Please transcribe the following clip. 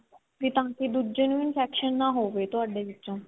ਵੀ ਤਾਂ ਕੀ ਦੂਜੇ ਨੂੰ infection ਨਾ ਹੋਵੇ ਤੁਹਾਡੇ ਵਿੱਚੋਂ